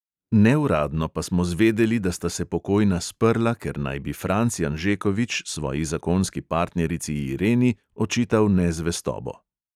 Neuradno pa smo zvedeli, da sta se pokojna sprla, ker naj bi franc janžekovič svoji zakonski partnerici ireni očital nezvestobo.